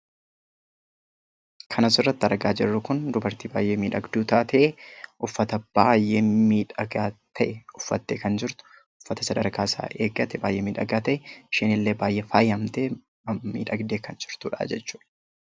Kan asirratti argaa jirru kun dubartii baayyee miidhagduu taate, uffata baayyee miidhagaa ta'e uffattee kan jirtu, uffata sadarkaasaa eeggate baayyee miidhagaa ta'e, isheenillee baayyee faayamtee miidhagdee kan jirtudha.